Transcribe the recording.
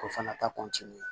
O fana ta